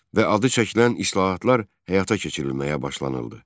Və adı çəkilən islahatlar həyata keçirilməyə başlanıldı.